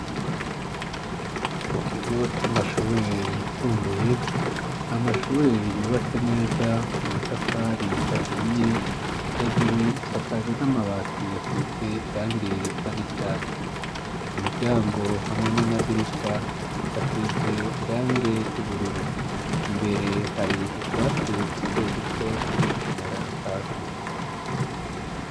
Mu kigo c'amashure yisumbuye, amashure yubatse neza amatafari ahiye, hejuru isakaje n'amabati yasize irangi risa n'icatsi. Ku miryango hamwe n'amadirisha hasize irange ry'ubururu. Imbere hari utwatsi duto duto turi kumera hasi.